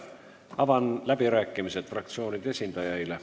Avan läbirääkimised fraktsioonide esindajaile.